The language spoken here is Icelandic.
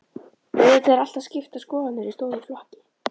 Auðvitað eru alltaf skiptar skoðanir í stórum flokki.